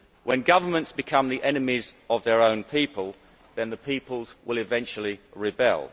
When governments become the enemies of their own people, then the people will eventually rebel.